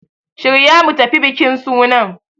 Shirya mu tafi bikin sunan!